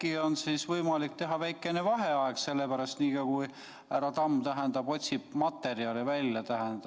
Äkki on siis võimalik teha väike vaheaeg nii kaua, kui härra Tamm otsib materjali välja?